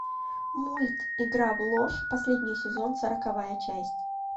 мульт игра в ложь последний сезон сороковая часть